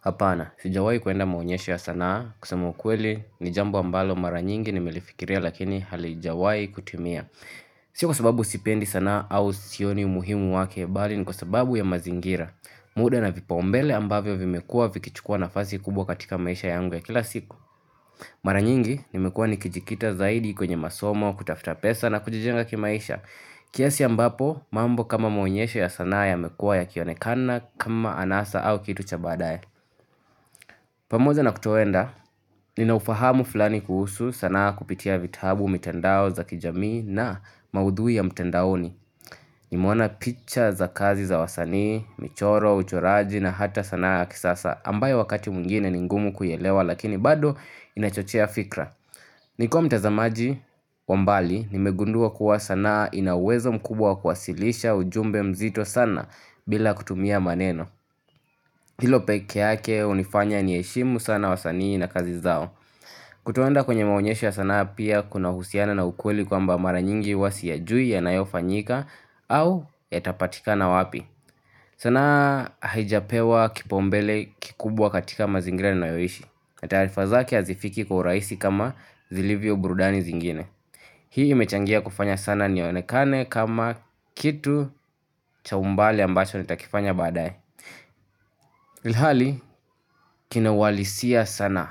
Hapana, sijawai kuenda maonyesho ya sanaa, kusema kweli ni jambo ambalo mara nyingi nimelifikiria lakini halijawai kutimia. Sio kwa sababu sipendi sanaa au sioni umuhimu wake bali ni kwa sababu ya mazingira. Muda na vipaumbele ambavyo vimekuwa vikichukua nafasi kubwa katika maisha yangu ya kila siku. Mara nyingi nimekuwa nikijikita zaidi kwenye masomo, kutafuta pesa na kujijenga kimaisha. Kiasi ambapo, mambo kama maonyesho ya sanaa yamekua yakionekana kama anasa au kitu cha baadaye. Pamoja na kutoenda, ninaufahamu fulani kuhusu sana kupitia vitabu mitandao za kijamii na maudhui ya mtandaoni. Nimeona picha za kazi za wasanii, michoro, uchoraji na hata sanaa ya kisasa ambayo wakati mwingine ni ngumu kuielewa lakini bado inachochea fikra. Nikiwa mtazamaji wa mbali, nimegundua kuwa sanaa ina uwezo mkubwa wa kuwasilisha ujumbe mzito sana bila kutumia maneno. Hilo peke yake hunifanya niheshimu sana wasanii na kazi zao. Kutoenda kwenye maonyesho ya sanaa pia kunahusiana na ukweli kwamba mara nyingi huwa siyajui yanayofanyika au yatapatikana wapi. Sanaa haijapewa kipaumbele kikubwa katika mazingira ninayoishi. Na taarifa zake hazifiki kwa urahisi kama zilivyo burudani zingine. Hii imechangia kufanya sana nionekane kama kitu cha umbali ambacho nitakifanya baadaye. Ilhali, kina uhalisia sana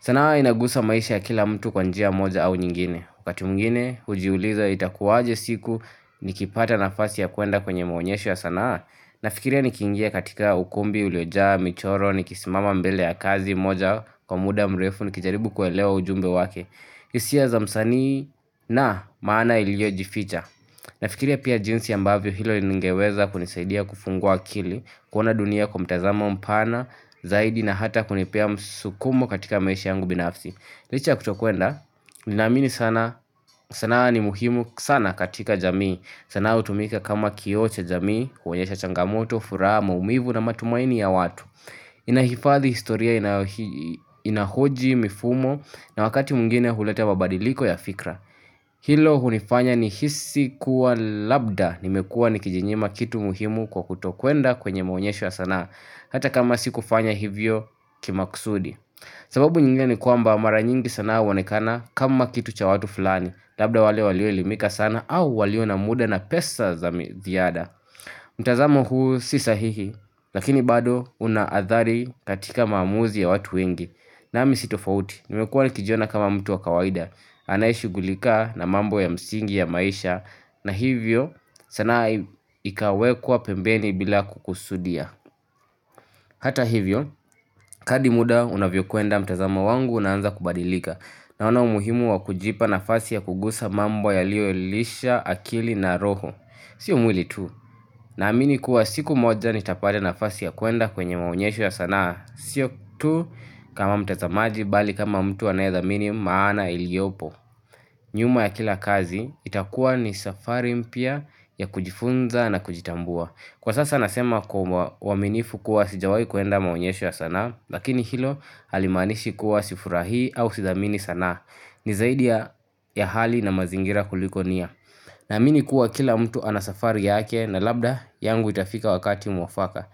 sanaa inagusa maisha ya kila mtu kwa njia moja au nyingine. Wakati mwingine, hujiuliza itakuwaje siku nikipata nafasi ya kuenda kwenye maonyesho ya sanaa? Nafikiria nikiingia katika ukumbi uliojaa michoro nikisimama mbele ya kazi moja kwa muda mrefu nikijaribu kuelewa ujumbe wake, hisia za msanii na maana iliyojificha. Nafikiria pia jinsi ambavyo hilo liingeweza kunisaidia kufungua akili, kuona dunia kwa mtazamo mpana zaidi na hata kunipea msukumo katika maisha yangu binafsi. Licha ya kutokwenda, ninaamini sana, sanaa ni muhimu sana katika jamii. Sanaa hutumika kama kioo cha jamii, kuonyesha changamoto, furaha, maumivu na matumaini ya watu Inahifadhi historia, inahoji mifumo na wakati mwingine huleta mabadiliko ya fikra Hilo hunifanya nihisi kuwa labda nimekua nikijinyima kitu muhimu kwa kutokwenda kwenye maonyesho ya sanaa, hata kama sikufanya hivyo kimakusudi. Sababu nyingine ni kwamba mara nyingi sanaa hoonekana kama kitu cha watu fulani, labda wale walio elimika sana au walio na muda na pesa za ziada. Mtazamo huu si sahihi, lakini bado una athari katika maamuzi ya watu wengi. Nami si tofauti, nimekuwa nikijiona kama mtu wa kawaida, anayeshugulika na mambo ya msingi ya maisha na hivyo sanaa ikawekwa pembeni bila kukusudia. Hata hivyo, kadri muda unavyokwenda mtazamo wangu unaanza kubadilika. Naona umuhimu wa kujipa nafsi ya kugusa mambo yaliyoilisha akili na roho. Sio mwili tu. Naamini kuwa siku moja nitapata nafasi ya kuenda kwenye maonyesho ya sanaa. Sio tu kama mtazamaji bali kama mtu anayedhamini maana iliopo. Nyuma ya kila kazi itakuwa ni safari mpya ya kujifunza na kujitambua. Kwa sasa nasema kwa uaminifu kuwa sijawai kuenda maonyesho ya sanaa. Lakini hilo halimaanishi kuwa sifurahi au sithamini sanaa. Ni zaidi ya hali na mazingira kuliko nia. Naamini kuwa kila mtu anavsafari yake na labda yangu itafika wakati mwafaka.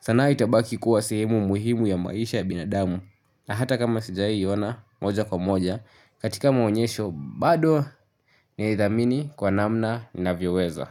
Sanaa itabaki kuwa sehemu muhimu ya maisha ya binadamu na hata kama sijawahi ona moja kwa moja katika maonyesho bado naithamini kwa namna ninavyoweza.